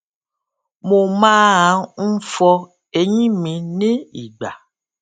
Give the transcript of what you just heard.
mo máa n fọ eyín mi ní ìgbà